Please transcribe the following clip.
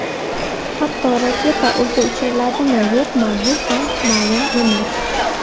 Hatto raketa o‘zi uchiriladimi-yo‘qmi, bu ham ma’lum emas.